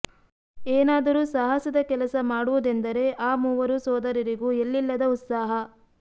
ಏನಾದರೂ ಸಾಹಸದ ಕೆಲಸ ಮಾಡುವುದೆಂದರೆ ಆ ಮೂವರು ಸೋದರರಿಗೂ ಎಲ್ಲಿಲ್ಲದ ಉತ್ಸಾಹ